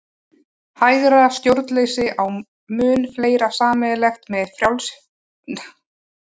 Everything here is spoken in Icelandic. Hægra stjórnleysi á mun fleira sameiginlegt með nýfrjálshyggju en með vinstra stjórnleysi.